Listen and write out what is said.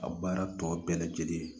A baara tɔ bɛɛ lajɛlen